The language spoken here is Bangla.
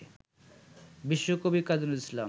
বিশ্বকবি কাজী নজরুল ইসলাম